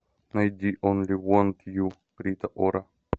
найди онли вонт ю рита ора